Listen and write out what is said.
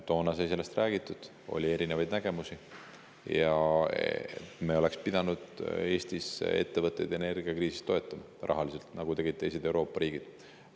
Toona sai sellest räägitud – oli küll erinevaid nägemusi –, et me oleks pidanud Eestis ettevõtteid energiakriisi ajal rahaliselt toetama, nagu tegid teised Euroopa riigid.